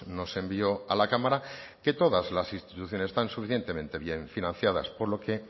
nos envió a la cámara que todas las instituciones están suficientemente bien financiadas por lo que